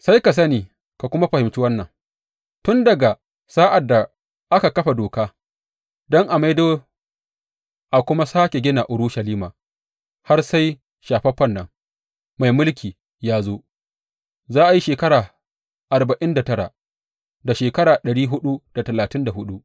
Sai ka sani ka kuma fahimci wannan; Tun daga sa’ad da aka kafa doka don a maido a kuma sāke gina Urushalima har sai Shafaffen nan, mai mulki, ya zo, za a yi shekara arba’in da tara, da shekara ɗari huɗu da talatin da huɗu.